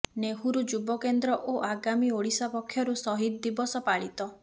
ନେହୁରୁ ଯୁବ କେନ୍ଦ୍ର ଓ ଆଗାମୀ ଓଡିଶା ପକ୍ଷରୁ ସହିଦ୍ ଦିବସ ପାଳିତ